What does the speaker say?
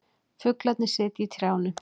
Fuglarnir sitja í trjánum.